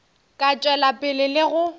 ka tšwela pele le go